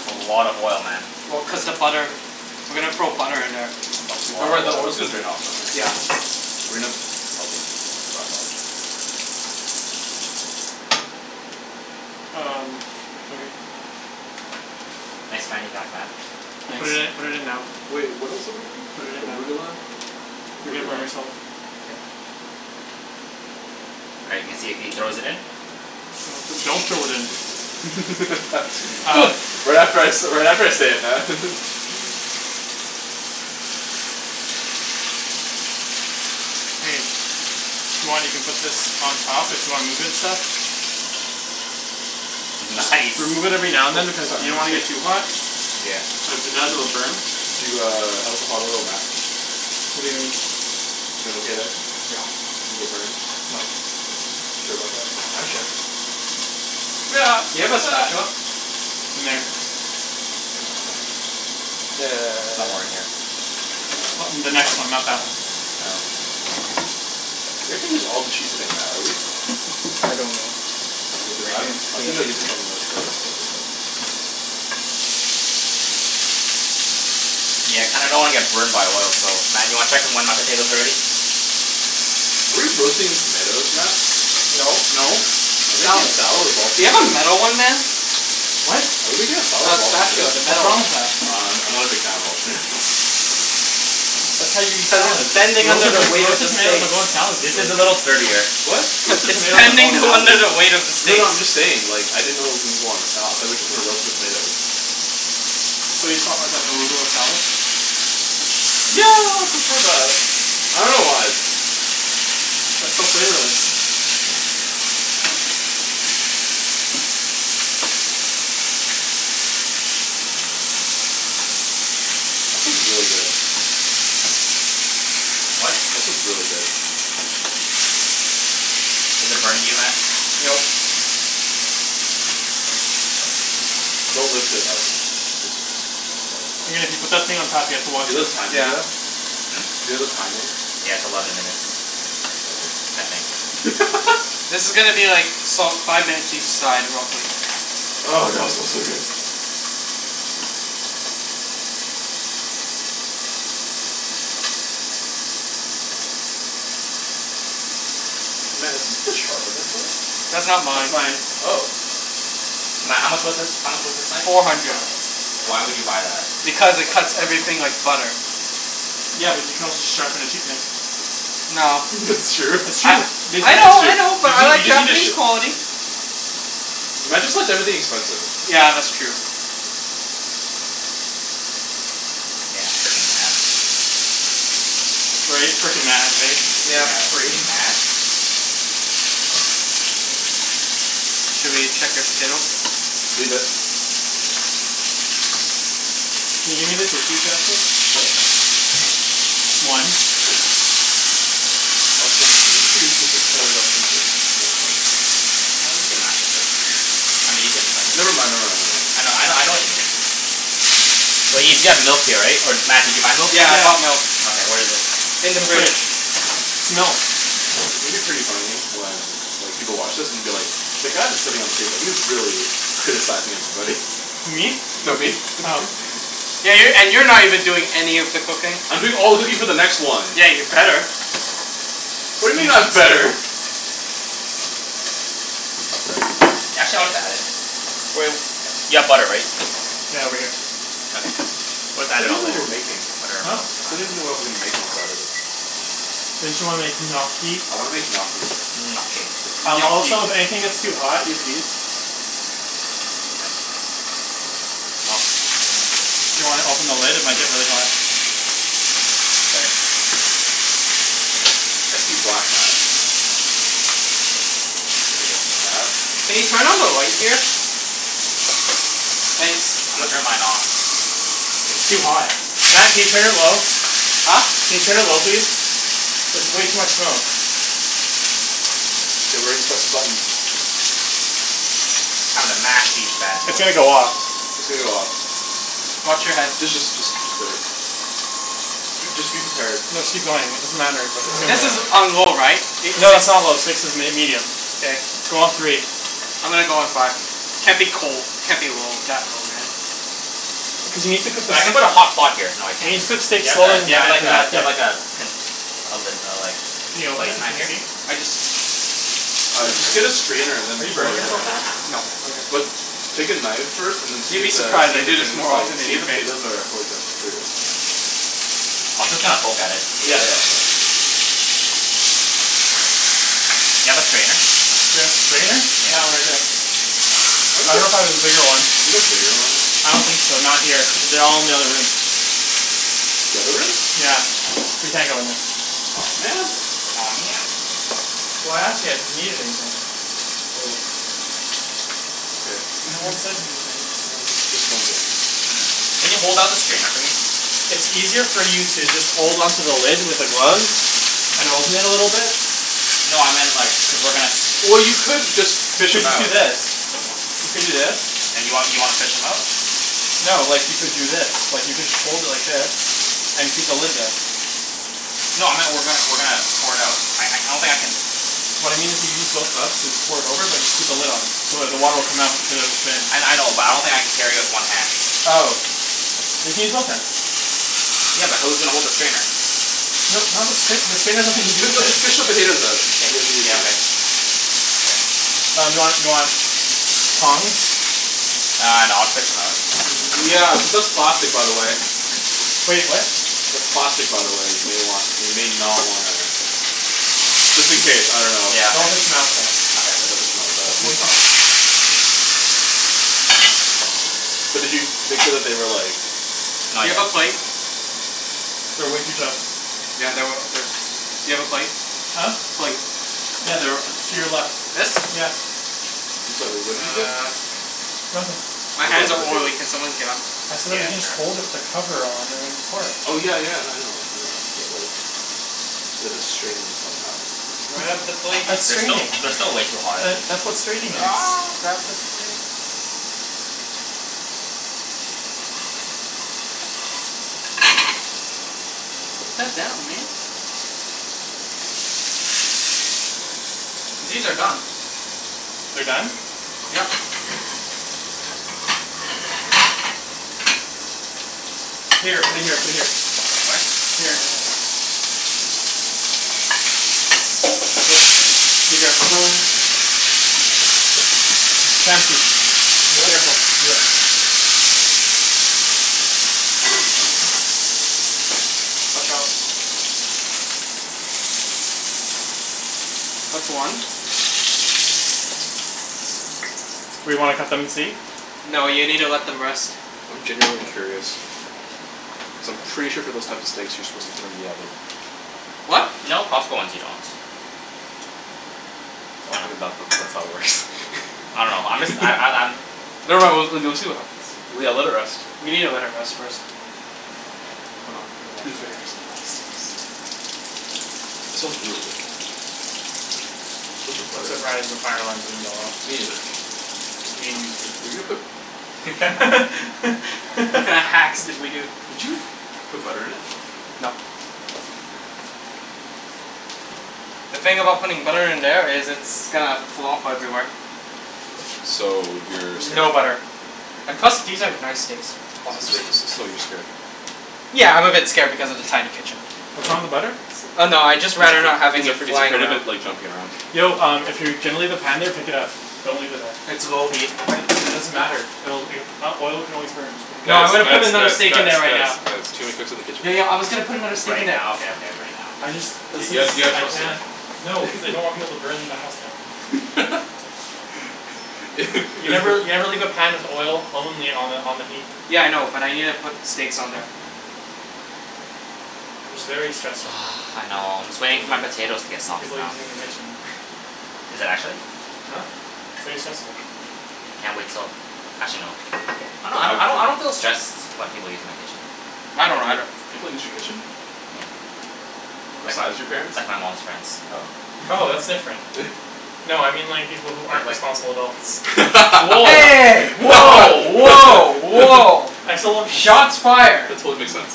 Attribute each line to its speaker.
Speaker 1: That's a lot of oil, Matt.
Speaker 2: Well cuz the butter. We're gonna throw butter in there.
Speaker 1: It's a
Speaker 3: Don't worry
Speaker 1: lot
Speaker 3: the
Speaker 1: of
Speaker 3: oil's gonna
Speaker 1: oil.
Speaker 3: drain out though right?
Speaker 2: Yeah.
Speaker 3: We probably dry it off.
Speaker 4: Um, okay.
Speaker 1: Thanks man you got that?
Speaker 4: You put it in
Speaker 2: Nice.
Speaker 4: put it in now.
Speaker 3: Wait, what else are we doing?
Speaker 4: Put it in now.
Speaker 3: Arugula?
Speaker 4: You're gonna
Speaker 3: Arugula?
Speaker 4: burn yourself.
Speaker 1: All right let's see if he throws it in.
Speaker 4: Do- do- don't throw it in. Um.
Speaker 3: Right after I say right after I say it, Matt.
Speaker 4: Hey. If you want, you can put this on top. If you wanna move it and stuff. Just
Speaker 1: That's nice
Speaker 4: remove it every now and then cuz you don't want to get too hot.
Speaker 2: Yeah.
Speaker 4: Cuz the burn.
Speaker 3: Do uh how's the hot oil Matt?
Speaker 2: What do you mean?
Speaker 3: You doin' okay there? You get burned?
Speaker 2: Nope.
Speaker 3: Sure about that?
Speaker 2: I'm sure. Do you have a spatula?
Speaker 4: In there.
Speaker 1: Somewhere in here.
Speaker 4: In the next one, not that one.
Speaker 3: You're not gonna use all the cheese today Matt are you?
Speaker 2: I don't know.
Speaker 3: Because I'm I was thinking about using some of that for other stuff.
Speaker 1: Yeah, I kinda don't wanna get burned by oil so Matt do you wanna check when my potatoes are ready?
Speaker 3: Are we roasting tomatoes, Matt?
Speaker 2: No.
Speaker 4: No,
Speaker 3: Are
Speaker 4: it's
Speaker 3: we making a
Speaker 4: salad.
Speaker 3: salad of all
Speaker 2: Do you have a
Speaker 3: tomatoes?
Speaker 2: metal one man?
Speaker 4: What?
Speaker 3: Are we making a salad
Speaker 2: A
Speaker 3: of all
Speaker 2: spatula,
Speaker 3: tomatoes?
Speaker 2: the
Speaker 4: What's
Speaker 2: metal
Speaker 4: wrong
Speaker 2: one.
Speaker 4: with that?
Speaker 3: I'm I'm not a big fan of all tomatoes.
Speaker 4: That's how you eat
Speaker 2: Cuz it's
Speaker 4: salads.
Speaker 2: bending under
Speaker 4: Roasted
Speaker 2: the
Speaker 4: like
Speaker 2: weight of the
Speaker 4: roasted tomatoes
Speaker 2: steak.
Speaker 4: don't go in salads
Speaker 1: This
Speaker 4: regularly.
Speaker 1: is a little sturdier.
Speaker 3: What?
Speaker 2: Cuz
Speaker 4: Roasted
Speaker 2: it's
Speaker 4: tomatoes don't go in
Speaker 2: bending
Speaker 4: salads
Speaker 2: under the
Speaker 4: regularly.
Speaker 2: weight of the
Speaker 3: No
Speaker 2: steak.
Speaker 3: no I'm just saying like I didn't know it was gonna go on a salad. Thought we were just gonna roast the tomatoes.
Speaker 4: So you just want like an arugula salad?
Speaker 3: Yeah I'd prefer that. I dunno why.
Speaker 4: That's so flavorless.
Speaker 3: That smells really good.
Speaker 1: What?
Speaker 3: That smells really good.
Speaker 1: Is it burning you Matt?
Speaker 2: No.
Speaker 3: Don't lift it out then. Just just let it
Speaker 4: put that thing on top here to wash it.
Speaker 2: Yeah.
Speaker 3: Do you have a timing?
Speaker 1: Yeah, it's eleven minutes.
Speaker 3: Okay.
Speaker 1: I think.
Speaker 2: This is gonna be like salt five minutes each side real quick.
Speaker 3: Oh god smells so good. Matt, is this the sharpener for it?
Speaker 2: That's not
Speaker 4: That's
Speaker 2: mine.
Speaker 4: mine.
Speaker 3: Oh.
Speaker 1: Matt, how much was this? How much was this knife?
Speaker 2: Four hundred.
Speaker 1: Why would you buy that?
Speaker 2: Because it cuts everything like butter.
Speaker 4: Yeah, but you can also just sharpen a cheap knife.
Speaker 2: No.
Speaker 3: That's true.
Speaker 4: It's
Speaker 2: I
Speaker 4: true. We
Speaker 2: I know
Speaker 3: That's
Speaker 4: tested
Speaker 3: true.
Speaker 2: I
Speaker 4: it.
Speaker 2: know
Speaker 3: You
Speaker 2: but I
Speaker 3: just you
Speaker 2: like
Speaker 3: just need to
Speaker 2: Japanese
Speaker 3: sh-
Speaker 2: quality.
Speaker 3: Matt just likes everything expensive.
Speaker 2: Yeah, that's true.
Speaker 1: Yeah, freaking Matt.
Speaker 4: Right? Freaking Matt, right?
Speaker 2: Yeah.
Speaker 1: Yeah,
Speaker 3: Freaking Matt.
Speaker 1: freaking Matt.
Speaker 4: Should we check your potatoes?
Speaker 3: Leave it.
Speaker 4: Can you?
Speaker 1: Sure.
Speaker 4: Just one.
Speaker 3: Also I'm pretty sure you're supposed to cut it up into small chunks.
Speaker 1: As long as you can mash it first. I mean you can
Speaker 3: Never
Speaker 1: like.
Speaker 3: mind,
Speaker 1: I
Speaker 3: never mind,
Speaker 1: know I know
Speaker 3: never mind.
Speaker 1: I know what you mean. Wait, you still have milk here right? Or did Matt did you buy milk?
Speaker 2: Yeah I bought milk.
Speaker 1: Okay, where is it?
Speaker 2: In
Speaker 4: In
Speaker 2: the
Speaker 4: the
Speaker 2: fridge.
Speaker 4: fridge. Milk.
Speaker 3: It's gonna be pretty funny when like people watch this and be like "The guy that's sitting at the table, he's really criticizing everybody."
Speaker 4: Who me?
Speaker 3: No, me.
Speaker 4: Oh.
Speaker 2: Yeah, you're and you're not even doing any of the cooking.
Speaker 3: I'm doing all the cooking for the next one.
Speaker 2: Yeah, you'd better.
Speaker 3: What
Speaker 4: He's
Speaker 3: do you
Speaker 4: being
Speaker 3: mean I'm
Speaker 4: sincere.
Speaker 3: better?
Speaker 1: Y'all chill we got it. You have butter right?
Speaker 4: Yeah over here.
Speaker 1: Okay,
Speaker 3: I still don't
Speaker 1: put
Speaker 3: even know what we're making.
Speaker 1: that
Speaker 4: Huh?
Speaker 3: I still don't even know what I'm making on Saturday.
Speaker 4: Didn't you wanna make gnocchi?
Speaker 3: I wanna make gnocchi.
Speaker 1: Gnocchi.
Speaker 2: Gnocchi.
Speaker 4: Also if anything gets too hot, use these. Do you wanna open the lid? It might get really hot.
Speaker 3: I see black, Matt. Matt?
Speaker 2: Can you turn on the light here? Thanks.
Speaker 1: Turn mine off.
Speaker 4: It's too hot. Matt can you turn it low?
Speaker 2: Huh?
Speaker 4: Can you turn it low please? There's way too much smoke.
Speaker 3: Get ready to press the button.
Speaker 1: I'm gonna mash these bad
Speaker 4: It's gonna
Speaker 1: boys.
Speaker 4: go off.
Speaker 3: It's gonna go off.
Speaker 2: Watch your head.
Speaker 3: D- just just just wait. J- just be prepared.
Speaker 4: No just keep going. It doesn't matter but it's
Speaker 2: This is
Speaker 4: gonna.
Speaker 2: on low right? It
Speaker 4: No
Speaker 2: six?
Speaker 4: that's not low, six is m- medium.
Speaker 2: K.
Speaker 4: Go on three.
Speaker 2: I'm gonna go on five. Can't be cold. Can't be low that low man
Speaker 4: Cuz you need to cook the
Speaker 1: So
Speaker 4: s-
Speaker 1: I'm gonna put a hot pot here
Speaker 4: you need
Speaker 1: so
Speaker 4: to
Speaker 1: I
Speaker 4: cook
Speaker 1: can
Speaker 4: steak
Speaker 1: Do
Speaker 4: slower than
Speaker 1: you
Speaker 4: that
Speaker 1: have
Speaker 4: after
Speaker 1: the
Speaker 4: that
Speaker 1: do
Speaker 4: bit.
Speaker 1: you have like a do you have like a pi- lid
Speaker 4: Can you
Speaker 1: like
Speaker 4: open it?
Speaker 1: Matt
Speaker 4: Can we
Speaker 1: just
Speaker 4: see?
Speaker 1: used?
Speaker 2: I just
Speaker 3: Uh just get a strainer and
Speaker 4: Are
Speaker 3: then
Speaker 4: you
Speaker 3: pour
Speaker 4: burning
Speaker 3: it in.
Speaker 4: yourself at all?
Speaker 2: No
Speaker 4: Okay.
Speaker 3: But take a knife first and see
Speaker 2: You'd
Speaker 3: if
Speaker 2: be
Speaker 3: the
Speaker 2: surprised.
Speaker 3: see
Speaker 2: I
Speaker 3: if the
Speaker 2: do this
Speaker 3: thing is
Speaker 2: more
Speaker 3: like
Speaker 2: often than
Speaker 3: see
Speaker 2: you
Speaker 3: if the
Speaker 2: think.
Speaker 3: potatoes are fully cooked through.
Speaker 1: I'll just kinda poke at it.
Speaker 3: Yeah, yeah yeah yeah
Speaker 1: Do you have a strainer?
Speaker 4: Do I have strainer? That one right there. I dunno if I have a bigger one.
Speaker 3: Do you have a bigger one?
Speaker 4: I don't think so. Not here. They're all in the other room.
Speaker 3: The other room?
Speaker 4: Yeah, we can't go in there.
Speaker 3: Aw man.
Speaker 1: Aw man.
Speaker 4: Well I asked you guys if you need anything.
Speaker 3: Well. Okay.
Speaker 4: No one said anything.
Speaker 3: No, just just wondering.
Speaker 1: Can you hold up the strainer for me?
Speaker 4: It's easier for you to just hold on to the lid with the gloves and open it a little bit.
Speaker 1: No I meant like cuz we're gonna s-
Speaker 3: Well you could just
Speaker 4: You
Speaker 3: fish
Speaker 4: should
Speaker 3: 'em
Speaker 4: just do
Speaker 3: out.
Speaker 4: this. You could do this.
Speaker 1: And you want you wanna fish 'em out?
Speaker 4: No, like you could do this. Like you could hold it like this, and keep the lid there.
Speaker 1: No I meant we're gonna we're gonna pour it out. I don't think I can
Speaker 4: What I mean is you use both gloves and pour it over but just keep the lid on. So it the water will come out but the potatoes will stay in.
Speaker 1: I I know but I don't think I can carry it with one hand.
Speaker 4: Oh. You can use both hands.
Speaker 1: Yeah, but who's gonna hold the strainer?
Speaker 4: No not the strainer, the strainer has nothing to
Speaker 3: Just
Speaker 4: do
Speaker 3: fi-
Speaker 4: with
Speaker 3: no just
Speaker 4: it.
Speaker 3: fish the potatoes out it it'll be
Speaker 1: Yeah
Speaker 3: easier.
Speaker 1: okay
Speaker 4: Um do you want do you want tongs?
Speaker 1: Uh no I'll just fish 'em out.
Speaker 3: Yeah, cuz that's plastic by the way.
Speaker 4: Wait, what?
Speaker 3: That's plastic by the way, you may want you may not wanna Just in case, I dunno.
Speaker 1: Yeah.
Speaker 4: Don't fish 'em out with that.
Speaker 3: Yeah, don't
Speaker 1: Okay.
Speaker 3: fish 'em out like that.
Speaker 4: That's way
Speaker 3: Use
Speaker 4: too
Speaker 3: tongs. But did you make sure that they were like
Speaker 1: Not
Speaker 2: Do you
Speaker 1: yet.
Speaker 2: have a plate?
Speaker 4: They're way too tough
Speaker 2: Yeah they were they do you have a plate?
Speaker 4: Huh?
Speaker 2: Plate.
Speaker 4: Yeah, they're to your left.
Speaker 2: This?
Speaker 4: Yeah.
Speaker 3: I'm sorry, wait, what did you say?
Speaker 4: Nothin'
Speaker 2: My hands
Speaker 3: About the
Speaker 2: are
Speaker 3: potatoes.
Speaker 2: oily, can someone get 'em?
Speaker 4: I said that
Speaker 1: Yeah,
Speaker 4: you can just hold it
Speaker 1: sure.
Speaker 4: with the cover on and pour it.
Speaker 3: Oh yeah yeah no I know I know but like We have to strain them somehow, and finish it.
Speaker 2: Grab the
Speaker 4: That's
Speaker 2: plate
Speaker 4: that's
Speaker 1: They're still
Speaker 4: straining.
Speaker 1: they're still way too hot.
Speaker 4: That's what straining is.
Speaker 2: Grab the plate. Put that down, man. These are done.
Speaker 4: They're done?
Speaker 2: Yep.
Speaker 4: Here, put it here put it here.
Speaker 1: What?
Speaker 4: Here. be careful. Chancey.
Speaker 3: Yeah?
Speaker 4: Careful.
Speaker 3: Yeah.
Speaker 2: Watch out. That's one.
Speaker 4: We wanna cut them and see?
Speaker 2: No you needa let them rest.
Speaker 3: I'm genuinely curious. Cuz I'm pretty sure for those types of steaks you're supposed to put 'em in the oven.
Speaker 2: What?
Speaker 1: No, Costco ones you don't. I dunno I'm just I'm I'm I'm
Speaker 3: Never mind, we'll we'll see what happens. Yeah, let it rest.
Speaker 2: You needa let it rest first.
Speaker 1: Hold on, gotta wash
Speaker 3: Who's ready
Speaker 1: my
Speaker 3: for
Speaker 1: hands.
Speaker 3: some raw steaks? That smells really good though. Where's the
Speaker 4: I'm
Speaker 3: butter?
Speaker 4: surprised the fire alarm didn't go off.
Speaker 3: Me neither.
Speaker 4: You mean you too.
Speaker 3: Were you gonna put
Speaker 2: What kinda hacks did we do?
Speaker 3: Did you put butter in it?
Speaker 2: Nope.
Speaker 3: Okay.
Speaker 2: The thing about putting butter in there is it's gonna flop everywhere.
Speaker 3: So you're scared.
Speaker 2: No butter. And plus these are nice steaks so
Speaker 3: So so so you're scared.
Speaker 2: Yeah, I'm a bit scared because of the tiny kitchen.
Speaker 4: What's wrong with the butter?
Speaker 3: So
Speaker 2: Oh no, I'd just rather not having
Speaker 3: he's
Speaker 2: it
Speaker 3: afraid he's
Speaker 2: flying
Speaker 3: afraid of
Speaker 2: around.
Speaker 3: it like jumping around.
Speaker 4: Yo um if you're gonna leave the pan there pick it up. Don't leave it there.
Speaker 2: It's low heat.
Speaker 4: What? It doesn't matter. It'll it oil can always burn. Just put it
Speaker 2: No I'm
Speaker 3: Guys
Speaker 2: gonna
Speaker 4: here.
Speaker 3: guys
Speaker 2: put another
Speaker 3: guys
Speaker 2: steak in
Speaker 3: guys
Speaker 2: there right
Speaker 3: guys
Speaker 2: now.
Speaker 3: guys, too many cooks in the kitchen.
Speaker 2: Yo yo I was gonna put another steak
Speaker 1: Right
Speaker 2: in there.
Speaker 1: now, okay okay right now.
Speaker 4: I just let's
Speaker 3: K, guys,
Speaker 4: just
Speaker 3: you got
Speaker 4: I
Speaker 3: trust him.
Speaker 4: can't no cuz I don't want people to burn my house down. You never you
Speaker 3: You've
Speaker 4: never leave a pan with oil only on the on the heat.
Speaker 2: Yeah I know, but I needa put steaks on there.
Speaker 4: I'm just very stressed right now
Speaker 1: I know, I'm just waiting for my potatoes to get soft
Speaker 4: People using the
Speaker 1: though.
Speaker 4: kitchen.
Speaker 1: Is it actually?
Speaker 4: Huh? It's very stressful.
Speaker 1: Can't wait till actually no I don't I don't I don't feel stressed when people use my kitchen.
Speaker 2: I
Speaker 4: I
Speaker 2: don't
Speaker 4: do.
Speaker 2: either.
Speaker 3: People use your kitchen?
Speaker 1: Like,
Speaker 3: Besides your parents?
Speaker 1: like my mom's friends.
Speaker 4: Oh,
Speaker 3: Oh,
Speaker 4: that's different. No I mean like people who aren't responsible adults.
Speaker 2: Hey! Woah woah woah!
Speaker 4: I still don't
Speaker 2: Shots fired.
Speaker 3: That totally makes sense.